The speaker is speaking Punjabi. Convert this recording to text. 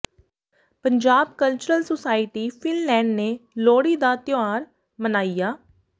ਪੰਜਾਬ ਕਲਚਰਲ ਸੁਸਾਇਟੀ ਫ਼ਿਨਲੈਂਡ ਨੇ ਲੋਹੜੀ ਦਾ ਤਿਉਹਾਰ ਮਨਾਇਆ